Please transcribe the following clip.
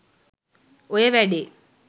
ඔය වැඩේ